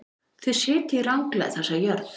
Þið sitjið ranglega þessa jörð.